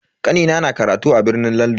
Kanina na karatu a birnin Landan.